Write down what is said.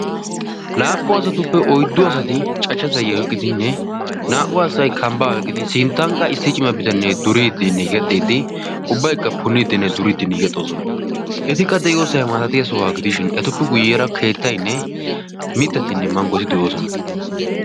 Laappun asatuppe oyddu asati cachcha zayio oqqidinne naa"u asatai kambbaa beqqidi sinttanqqa issi cima bitannee duriiddinn gexxiiddi ubbaikka punniiddinne duriiddi niigexxoosona etikka de'iyoosay maatatiya sohuwaa gidishin etuppi guyyeara keettainne mittatinn manggoti de'oosona.